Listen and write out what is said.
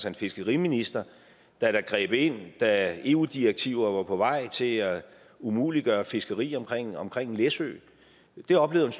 en fiskeriminister der greb ind da eu direktiver var på vej til at umuliggøre fiskeri omkring omkring læsø det oplevede